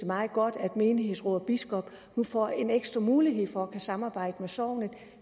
meget godt at menighedsråd og biskop nu får en ekstra mulighed for at kunne samarbejde om sognet